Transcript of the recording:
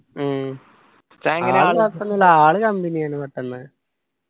ഉം ആള് കൊഴപ്പമൊന്നുമില്ല ആള് company ആയിന് പെട്ടന്ന്